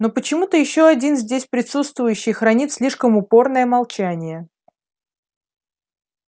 но почему-то ещё один здесь присутствующий хранит слишком упорное молчание